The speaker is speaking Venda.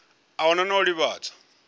a hu na u ḓivhadzwa